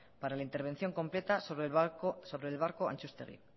para la intervención completa sobre el barco atxustegi